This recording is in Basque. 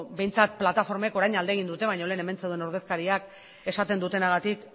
behintzat plataformek orain alde egin dute baina lehen hemen zeuden ordezkariak esaten dutenagatik